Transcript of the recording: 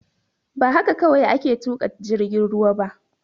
Ba haka kawai ake tuƙa jirgin ruwa ba